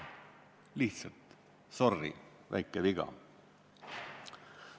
Lihtsalt: sorry, väike viga.